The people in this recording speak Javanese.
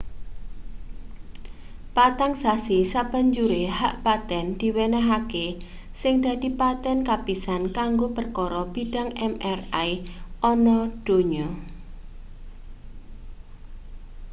patang sasi sabanjure hak paten diwenehake sing dadi paten kapisan kanggo perkara bidang mri ana donya